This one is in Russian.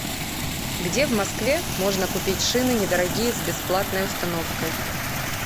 где в москве можно купить шины не дорогие с бесплатной установкой